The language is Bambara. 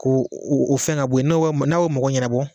Ko u fɛn ka bɔyi n'o bɛ, n'a bɛ o mako ɲɛnɛbɔ.